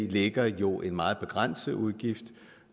ligger jo en meget begrænset udgift